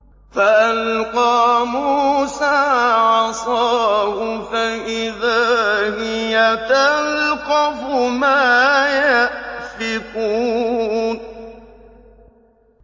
فَأَلْقَىٰ مُوسَىٰ عَصَاهُ فَإِذَا هِيَ تَلْقَفُ مَا يَأْفِكُونَ